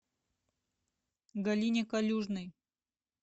галине калюжной